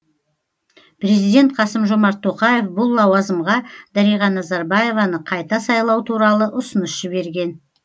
президент қасым жомарт тоқаев бұл лауазымға дариға назарбаеваны қайта сайлау туралы ұсыныс жіберген